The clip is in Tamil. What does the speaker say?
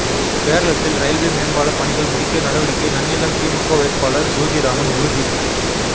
பேரளத்தில் ரயில்வே மேம்பால பணிகள் முடிக்க நடவடிக்கை நன்னிலம் திமுக வேட்பாளர் ஜோதிராமன் உறுதி